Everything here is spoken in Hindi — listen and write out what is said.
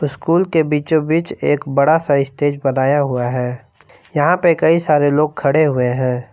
स्कूल के बीचो बीच एक बड़ा सा स्टेज बनाया हुआ है यहां पे कई सारे लोग खड़े हुए हैं।